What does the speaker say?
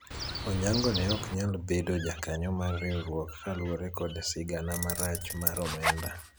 Onyango ne ok nyal bedo jakanyo mar riwruok kaluwore kod sigana marach mar omenda